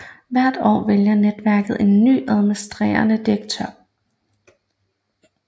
Hvert år vælger netværket en ny administrerende direktør